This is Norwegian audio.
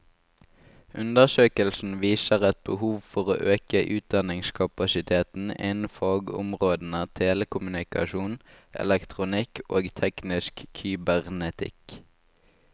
Undersøkelsen viser et behov for å øke utdanningskapasiteten innen fagområdene telekommunikasjon, elektronikk og teknisk kybernetikk.